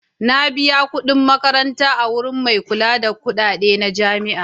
Na biya kuɗin makaranta a wurin mai kula da kuɗaɗe na jami'a.